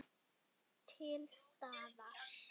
Til staðar.